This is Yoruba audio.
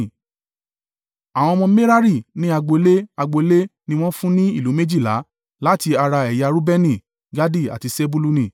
Àwọn ọmọ Merari ní agbo ilé, agbo ilé ni wọ́n fún ní ìlú méjìlá láti ara ẹ̀yà Reubeni, Gadi àti Sebuluni.